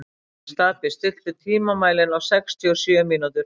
Stapi, stilltu tímamælinn á sextíu og sjö mínútur.